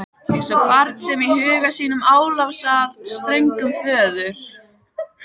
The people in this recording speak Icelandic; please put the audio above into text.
Eins og barn sem í huga sínum álasar ströngum föður.